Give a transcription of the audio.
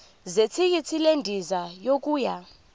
zethikithi lendiza yokuya